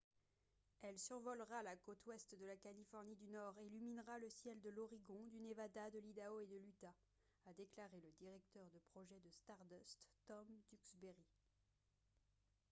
« elle survolera la côte ouest de la californie du nord et illuminera le ciel de l’oregon du nevada de l’idaho et de l’utah » a déclaré le directeur de projet de stardust tom duxbury